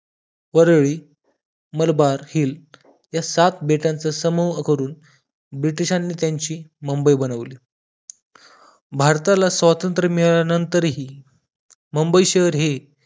Worli Malabar Hill ह्या सात बेटांचा समूह करून ब्रिटिशांनी त्याची मुंबई बनवली भारताला स्वातंत्र्य मिळाल्यानंतर मुंबई शहर हे